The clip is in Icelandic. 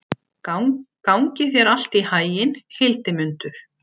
Gangi þér allt í haginn, Hildimundur.